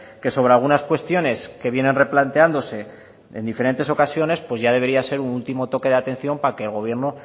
que sobre algunas cuestiones que vienen replanteándose en diferentes ocasiones pues ya debería ser un último toque de atención para que el gobierno